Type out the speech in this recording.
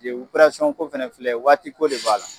De uperesɔn ko fɛnɛ filɛ waati ko de b'a la